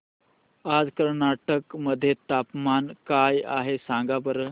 आज कर्नाटक मध्ये तापमान काय आहे सांगा बरं